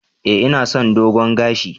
Eh ina son dogon gashi.